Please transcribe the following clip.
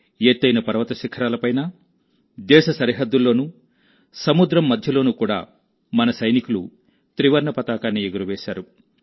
ఎత్తైన పర్వతాల శిఖరాలపైనా దేశ సరిహద్దుల్లోనూ సముద్రం మధ్యలోనూ కూడా మన సైనికులు త్రివర్ణ పతాకాన్ని ఎగురవేశారు